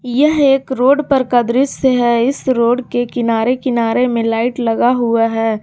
यह एक रोड पर का दृश्य है इस रोड के किनारे किनारे में लाइट लगा हुआ है।